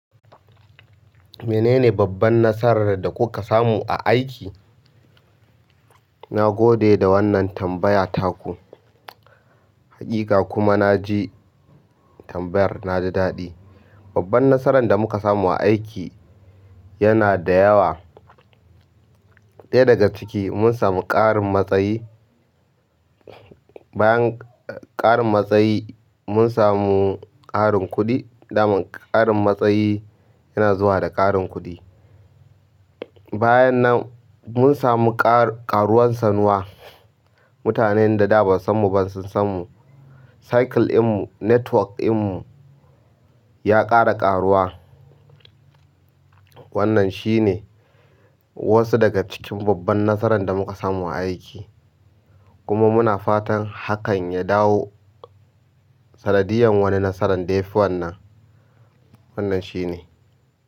Menene babban nasarar da kuka samu a aiki? Nagode da wannan tambaya taku. Hakika kuma na ji tambayar na da daɗi. Babban nasarar da muka samu a aiki yana da yawa. Ɗaya daga ciki mun samu ƙarin matsayi. Bayan karin matsayi mun samu karin kuɗi. Daman ƙarin matsayi yana zuwa da ƙarin kuɗi. Bayan nan mun samu ƙaruwan sanuwa. Mutanen da da ba su san mu ba sun san mu. Cycle in mu, network in mu ya ƙara ƙaruwa. Wannan shine wasu daga cikin babban nasarar da muka samu a aiki. Kuma muna fatan hakan ya dawo sanadiyan wani nasarar dai fi wannan. Wannan shine.